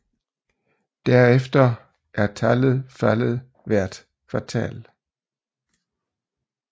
Derefter er tallet faldet hvert kvartal